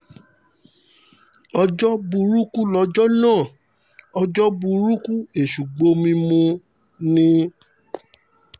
ọjọ́ burúkú lọjọ́ náà ọjọ́ burúkú ọjọ́ burúkú èṣù gbomi mu ni